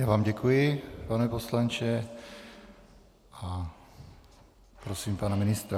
Já vám děkuji, pane poslanče, a prosím pana ministra.